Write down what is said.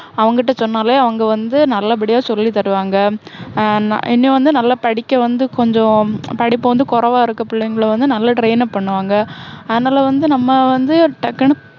அவங்க கிட்ட சொன்னாலே அவங்க வந்து நல்லபடியா சொல்லித்தருவாங்க. ஹம் ஆஹ் இன்னும் வந்து நல்லா படிக்க வந்து கொஞ்சம், படிப்பு வந்து கொறைவா இருக்க புள்ளைங்கள வந்து நல்ல train up பண்ணுவாங்க. அதனால வந்து நம்ம வந்து டக்குன்னு